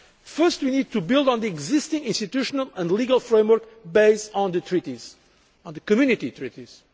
reforms. First, we need to build on the existing institutional and legal framework based on the Community